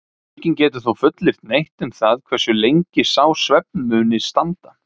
enginn getur þó fullyrt neitt um það hversu lengi sá svefn muni standa